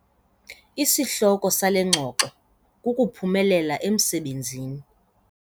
Isihloko sale ngxoxo kukuphumelela emsebenzini.